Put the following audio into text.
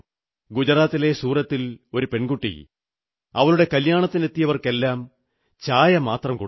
ഗുജറാത്തിലെ സൂറത്തിൽ ഒരു പെൺകുട്ടി അവളുടെ കല്യാണത്തിനെത്തിയവർക്കെല്ലാം ചായ മാത്രം കൊടുത്തു